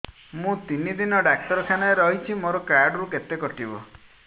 ମୁଁ ତିନି ଦିନ ଡାକ୍ତର ଖାନାରେ ରହିଛି ମୋର କାର୍ଡ ରୁ କେତେ କଟିବ